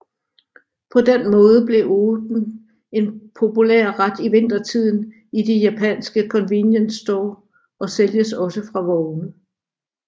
På den måde blev oden en populær ret i vintertiden i de japanske convenience stores og sælges også fra vogne